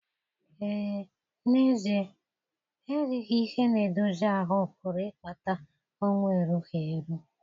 Ee, n'ezie erighị ihe na-edozi ahụ́ pụrụ ịkpata ọnwụ erughi eru.